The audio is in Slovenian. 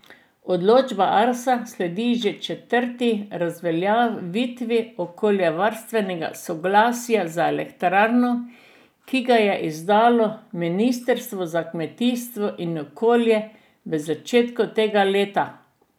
Odločba Arsa sledi že četrti razveljavitvi okoljevarstvenega soglasja za elektrarno, ki ga je izdalo ministrstvo za kmetijstvo in okolje v začetku tega leta.